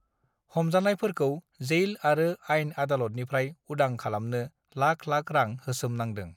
हमजानायफोरखौ जेइल आरो आइन आदलतनिफ्राय उदां खालामनों लाख लाख रां होसोमनांदों